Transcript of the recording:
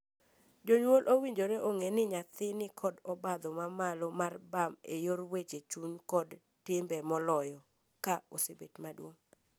Jonyuol owinjore ong’ee ni nyathi nikod obadho mamalo mar bam e yor weche chuny kod timbe moloyo ka osebet maduong’.